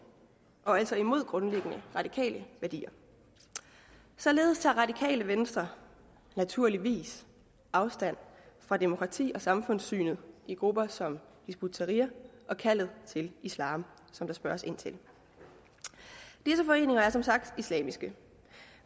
og altså imod grundlæggende radikale værdier således tager radikale venstre naturligvis afstand fra demokrati og samfundssynet i grupper som hizb ut tahrir og kaldet til islam som der spørges ind til disse foreninger er som sagt islamiske